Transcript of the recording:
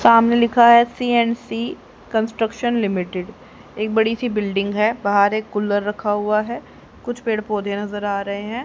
सामने लिखा है सी_एन_सी कंस्ट्रक्शन लिमिटेड एक बड़ी सी बिल्डिंग है बाहर एक कुलर रखा हुआ है कुछ पेड़ पौधे नजर आ रहे है।